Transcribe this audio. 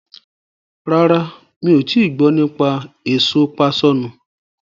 Rárá, mi ò tii gbọ́ nípa èso páṣọ̀nù.